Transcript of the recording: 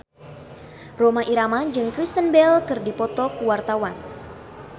Rhoma Irama jeung Kristen Bell keur dipoto ku wartawan